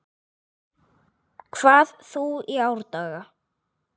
hvað þú í árdaga